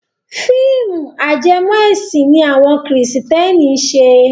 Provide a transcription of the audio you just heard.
Fíìmù ajẹmọ ẹ̀sìn ni àwọn kìrìsìtẹ́nì ń ṣe.